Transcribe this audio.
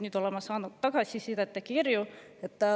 Nüüd olen ma saanud tagasisidet ja kirju.